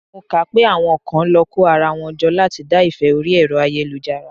Mo kà á pé àwọn kan lọ kó ara wọn jọ láti dá ìfẹ́ orí Ẹ̀rọ ayélujára.